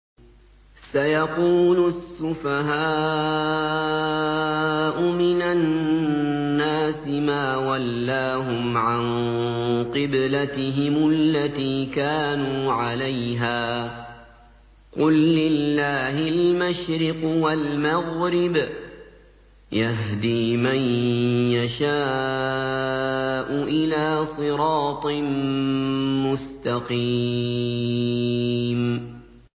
۞ سَيَقُولُ السُّفَهَاءُ مِنَ النَّاسِ مَا وَلَّاهُمْ عَن قِبْلَتِهِمُ الَّتِي كَانُوا عَلَيْهَا ۚ قُل لِّلَّهِ الْمَشْرِقُ وَالْمَغْرِبُ ۚ يَهْدِي مَن يَشَاءُ إِلَىٰ صِرَاطٍ مُّسْتَقِيمٍ